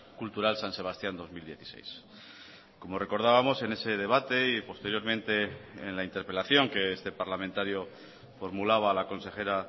cultural san sebastián dos mil dieciséis como recordábamos en ese debate y posteriormente en la interpelación que este parlamentario formulaba a la consejera